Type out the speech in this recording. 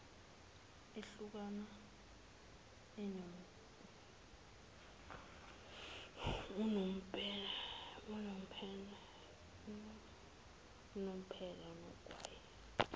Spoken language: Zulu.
ehlukana unomphela nogwayi